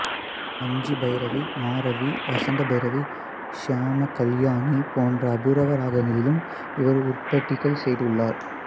மாஞ்சிபைரவி மாரவி வசந்தபைரவி சியாமகல்யாணி போன்ற அபூர்வராகங்களிலும் இவர் உருப்படிகள் செய்துள்ளார்